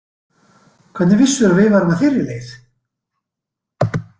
Hvernig vissirðu að við værum á þeirri leið?